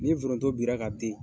Ni foronto bira ka den